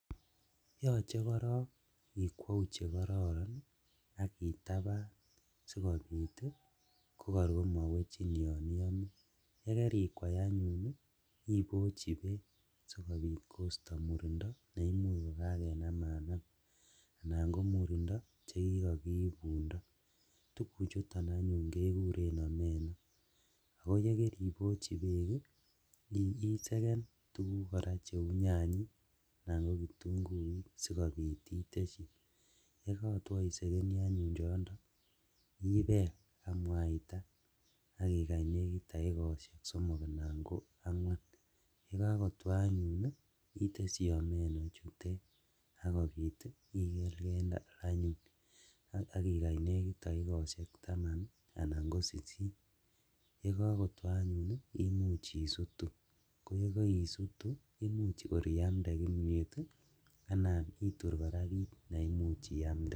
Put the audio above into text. Yoche korong ikwou chekororon ak itaban sikobit kokor komowechin yon iyome, yekerikwai anyun ibochi beek sikobit kosto murindo neimuch kokakenamanam anan komurindo chekikokiibundo , tuguchuton anyun kekuren omeno oo yekeribochi beek ii iseken koraa tuguk cheu nyanyik anan ko kitunguik sikobit iteshi, yekotwo isekeni anyun choondo ibel ak mwaita ak ikany nekit dakikoshek somok ana ko angwan, yekokotwo anyun iteshi omeno ichutet sikobit ikelkel ak ikany nekit dakikoshek taman anan ko sisit, yekokotwo anyun ii imuch isutu koyekoisitu imuch kor iamde imiet ii anan itur kiraa kit neimuch iamde.